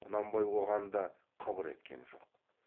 құнанбай оған да қыбыр еткен жоқ